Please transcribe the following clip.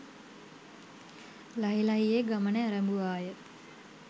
ලහි ලහියේ ගමන ඇරඹුවාය.